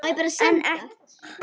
En ekki strax.